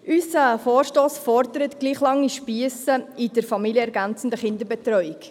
Unser Vorstoss fordert gleich lange Spiesse in der familienergänzenden Kinderbetreuung.